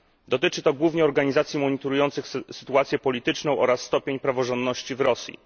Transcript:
Dotyczy to głównie organizacji monitorujących sytuację polityczną oraz stopień praworządności w Rosji.